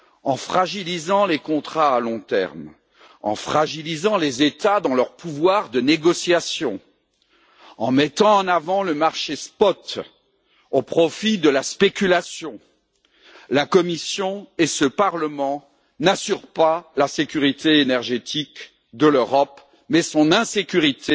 En fragilisant les contrats à long terme, en fragilisant les États dans leur pouvoir de négociation, en mettant en avant le marché spot au profit de la spéculation, la Commission et ce Parlement n'assurent pas la sécurité énergétique de l'Europe mais son insécurité